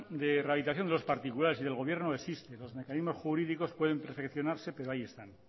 de rehabilitación de los particulares y del gobierno existe los mecanismos jurídicos pueden perfeccionarse pero ahí están